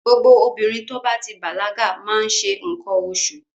Gbogbo obìnrin tó bá ti bàlágà má ń ṣe nǹkan oṣù.